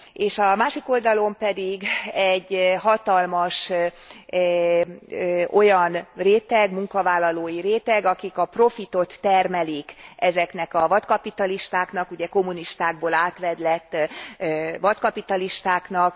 És a másik oldalon pedig egy hatalmas olyan réteg, munkavállalói réteg, akik a profitot termelik ezeknek a vadkapitalistáknak, ugye kommunistákból átvedlett vadkapitalistáknak.